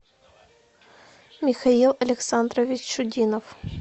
михаил александрович чудинов